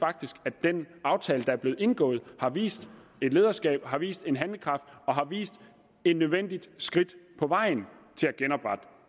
at den aftale der er blev indgået har vist et lederskab har vist en handlekraft og har vist et nødvendigt skridt på vejen til at genoprette